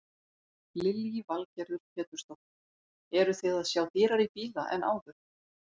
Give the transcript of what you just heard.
Lillý Valgerður Pétursdóttir: Eruð þið að sjá dýrari bíla en áður?